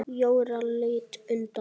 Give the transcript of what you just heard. Jóra leit undan.